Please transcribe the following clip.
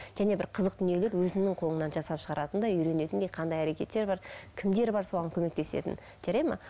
және бір қызық дүниелер өзіңнің қолыннан жасап шығаратындай үйренетіндей қандай әрекеттер бар кімдер бар соған көмектесетін жарайды ма